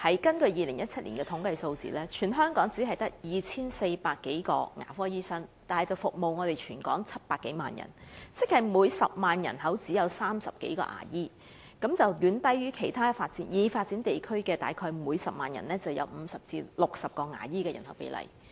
根據2017年的統計數字，全港只有 2,400 多名牙科醫生，但他們卻要服務全港700多萬人口，亦即每10萬人只有30多名牙醫，遠低於其他已發展地區約每10萬人有50至60名牙醫的比例。